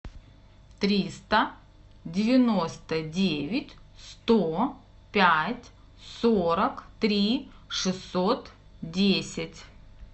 триста девяносто девять сто пять сорок три шестьсот десять